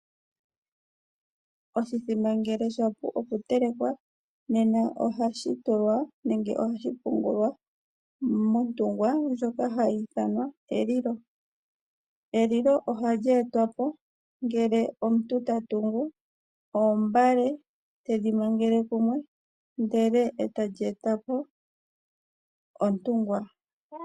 Oshimbombo ngele shapu okutelekwa ohashi pungulwa montungwa ndjoka hayi ithanwa elilo. Elilo ohali etwapo uuna omuntu tatungu oombale tedhi mangeke kumwe ndele etadhi eta po elilo.